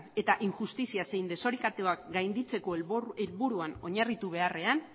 eta injustizia zein desorekatuak gainditzeko helburuan oinarritu beharrean